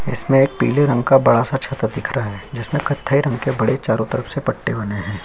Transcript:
इसमें एक पिले रंग का बड़ा सा छाता दिख रहा है जिसमे कत्थे रंग के बड़े चारो तरफ से पत्ते बने है |